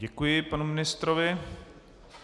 Děkuji panu ministrovi.